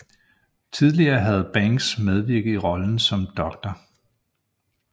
Tidligere havde Banks medvirket i rollen som Dr